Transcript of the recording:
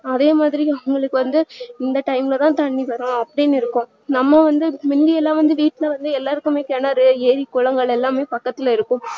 அதே மாதிரி அவங்களுக்கு வந்து இந்த time லதா தண்ணீவரும் அப்டின்னு இருக்கும் நம்ம வந்து முந்தியலா வீட்டுல வந்து எல்லாருக்குமே கிணறு ஏறி குளங்கள் எல்லாமே பக்கத்துல இருக்கும்